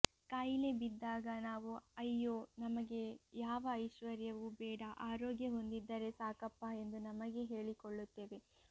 ಕಾಯಿಲೆ ಬಿದ್ದಾಗ ನಾವು ಅಯ್ಯೋ ನಮಗೆ ಯಾವ ಐಶ್ವರ್ಯವೂ ಬೇಡ ಆರೋಗ್ಯವೊಂದಿದ್ದರೆ ಸಾಕಪ್ಪಾ ಎಂದು ನಮಗೆ ಹೇಳಿಕೊಳ್ಳುತ್ತೇವೆ